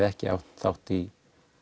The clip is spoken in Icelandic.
ekki átt þátt í